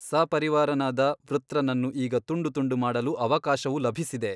ಸಪರಿವಾರನಾದ ವೃತ್ರನನ್ನು ಈಗ ತುಂಡು ತುಂಡು ಮಾಡಲು ಅವಕಾಶವು ಲಭಿಸಿದೆ.